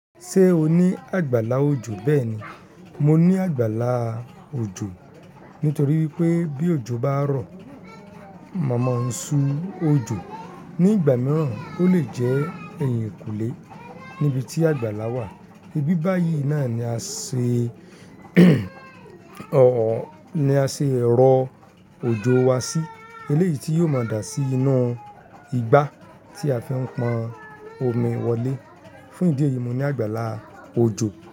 Ṣé o ní àgbàlá òjò? Bẹ́ẹ̀ni, mo ní àgbàlaá òjò. Nítorí pé bí òjò bá rọ̀, mọ̀ maa ń ṣú òjò. Ni ìgbà mìíràn ó lè jẹ́ ẹ̀yìnkùlé níbi tí àgbàlá wà. Ibi báyìí náà ni a ṣe ni a ṣe ẹ̀rọ òjò wa sí. Eléyii ti yóò máa dà sí inú igbá tí a fi ń pọn omi wọlé. Fún ìdí èyí, mo ní àgbàlá òjò.